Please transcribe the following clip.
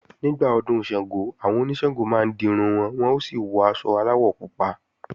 Nígbà Ọdún Ṣàngó, àwọn oníṣàngó máa ń dirun wọn, wọ́n ó sì wọ aṣọ aláwọ̀ pupa